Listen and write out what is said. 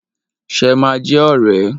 Ṣe ma jẹ́ ọ̀rẹ́?